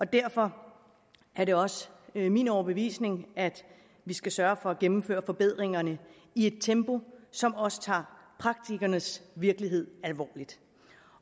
derfor er det også min overbevisning at vi skal sørge for at gennemføre forbedringerne i et tempo som også tager praktikernes virkelighed alvorligt